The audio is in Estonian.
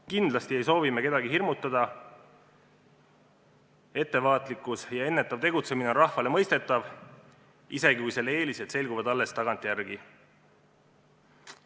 Kindlasti ei soovi me kedagi hirmutada, ettevaatlikkus ja ennetav tegutsemine on rahvale mõistetav, isegi kui selle eelised selguvad alles tagantjärele.